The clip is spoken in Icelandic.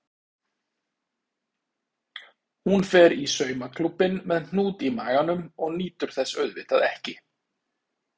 Hún fer í saumaklúbbinn með hnút í maganum og nýtur þess auðvitað ekki.